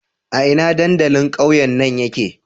A ina dandalin ƙauyen nan yake?